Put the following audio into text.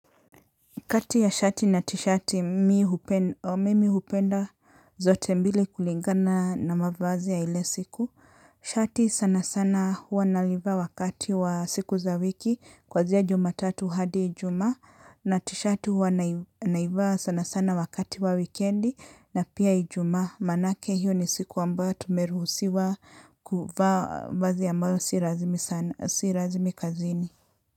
Kati ya shati na tishati mimi hupenda zote mbili kulingana na mavazi ya ile siku. Shati sana sana hua nalivaa wakati wa siku za wiki kwanzia jumatatu hadi ijumaa na tishati hua naivaa sana sana wakati wa wikendi na pia ijumaa. Maanake hiyo ni siku ambayo tumeruhusiwa kuvaa vazi ambayo si rasmi kazini.